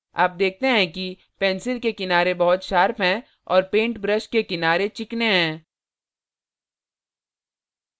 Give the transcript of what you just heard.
आप देखते हैं कि pencil के किनारे बहुत sharp हैं और paint brush के किनारे चिकने हैं